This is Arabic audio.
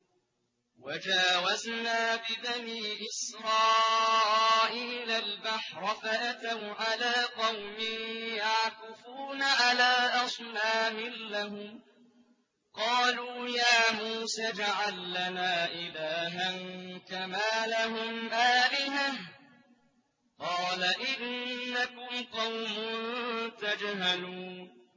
وَجَاوَزْنَا بِبَنِي إِسْرَائِيلَ الْبَحْرَ فَأَتَوْا عَلَىٰ قَوْمٍ يَعْكُفُونَ عَلَىٰ أَصْنَامٍ لَّهُمْ ۚ قَالُوا يَا مُوسَى اجْعَل لَّنَا إِلَٰهًا كَمَا لَهُمْ آلِهَةٌ ۚ قَالَ إِنَّكُمْ قَوْمٌ تَجْهَلُونَ